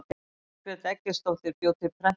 margrét eggertsdóttir bjó til prentunar